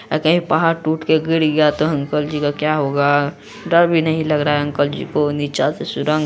अगर यह पहाड़ टूट कर गिर गया तो अंकल जी का क्या होगा? डर भी नहीं लग रहा है अंकल जी को | नीचा से सुरंग--